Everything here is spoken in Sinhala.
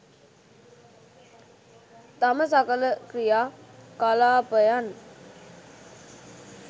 තම සකල ක්‍රියා කලාපයන්